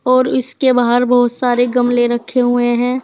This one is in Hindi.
और इसके बाहर बहुत सारे गमले रखे हुए हैं।